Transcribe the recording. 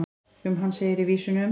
um hann segir í vísunum